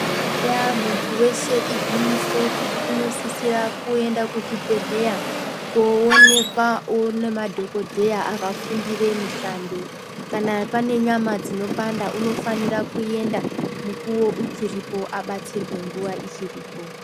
Eye munthu weshe igwinyiso kuti unosisirwa kuti aende kuchibhehleya kowonekwawo ngemadhokotera akafundira mushando kana pane nyama dzinopanda unofanira kuenda mukuwo uchiripo abatsirwe nguva ichriipo